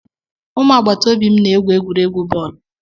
ụmụ agbata obi m na-egwu egwuregwu bọọlụ